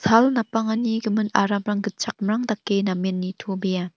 sal napangani gimin aramrang gitchakmrang dake namen nitobea.